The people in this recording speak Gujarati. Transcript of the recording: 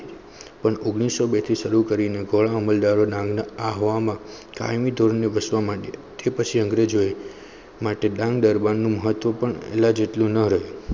પણ ઓગણીસો બે થી સરું કરી ને અમલદારો માં અહવા માં કાયમી ધોરણ વસવા માટે તે પછી અંગ્રેજો એમાટે ડાંગ દરબાર માં મહત્વ લ જેટલું પણ ના રહ્યું